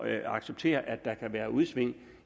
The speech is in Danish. at acceptere at der kan være udsving